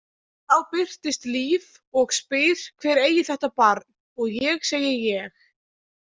þá birtist Líf og spyr hver eigi þetta barn og ég segi ég.